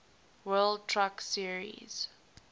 world truck series